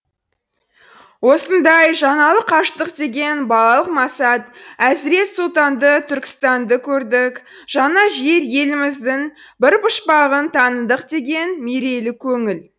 осындай жаңалық аштық деген балалық масат әзірет сұлтанды түркістанды көрдік жаңа жер еліміздің бір пұшпағын таныдық деген мерейлі көңіл